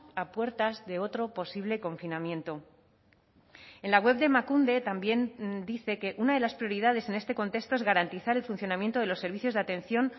a puertas de otro posible confinamiento en la web de emakunde también dice que una de las prioridades en este contexto es garantizar el funcionamiento de los servicios de atención